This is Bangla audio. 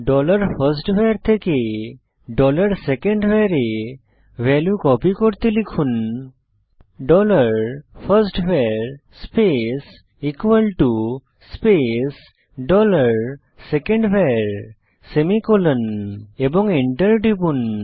ডলার ফার্স্টভার থেকে ডলার সেকেন্ডভার এ ভ্যালু কপি করতে লিখুন dollar first var space space dollar second var semicolon এবং এন্টার টিপুন